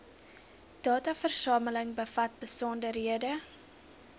dataversameling bevat besonderhede